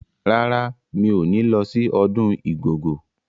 Rárá, mi ò ní lọ sí ọdún Igogo.